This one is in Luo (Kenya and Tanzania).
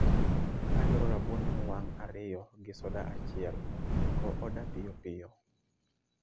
Adwaro rabuon mowang' ariyo gi soda achiel go oda piyopiyo